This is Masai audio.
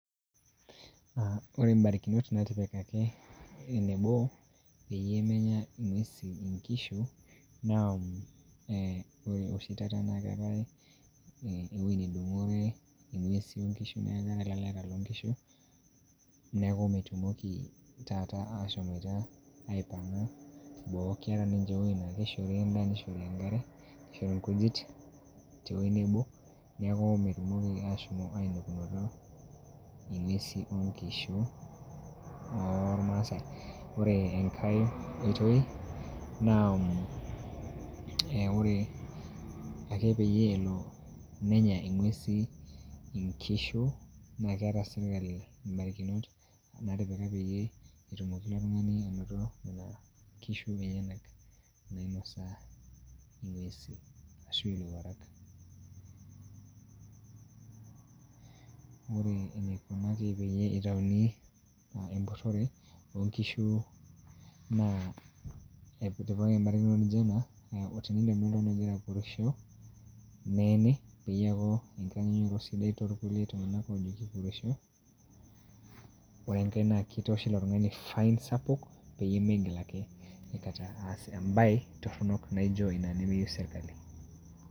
Ore mbarikinot naatipikaki enebo, peyie menya ing'uesi nkishu, naa eeh ore oshi taata naa keetai ewueji nedung'ore ing'uesi onkishu neeku keetai ilaleta loonkishu, neeku metumoki taata ashomoita aipang'a boo keeta ninche ewueji naa keishori endaa neishori enkare neishori ilkujit tewueji nebo, neeku metumoki ashom ainepunoto ing'uesi onkishu oolmaasai. ore enkae oitoi naa ore ake peyie elo nenya ing'uesi inkishu naa keeta serkali mbarikinot naatipika peyie etumoki ilo tung'aani anoto nena kishu enyenak nainosa ing'uesi ashu ilowuarak Ore eneikunaki peyie eitayuni empurrore oonkishu naa etipikaki embarakinoto naijo ena, teninepuni oltung'ani ogira appurisho neeni peyie eeku enkitanyaanyukoto sidai toolkulie tung'anak oojo kipurrisho ore enkae naa kitooshi ilo tung'ani fine sapuk peyie meigil ake aikata aas embae torrono naijo ina nemeyieu serkali.